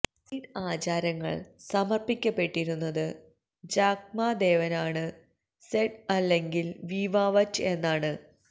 seed ആചാരങ്ങൾ സമർപ്പിക്കപ്പെട്ടിരുന്നത് ജാക്ക്മാ ദേവനാണ് സെഡ് അല്ലെങ്കിൽ വീവ്വാവറ്റ് എന്നാണ്